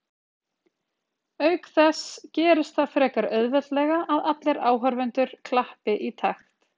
auk þess gerist það frekar auðveldlega að allir áhorfendur klappi í takt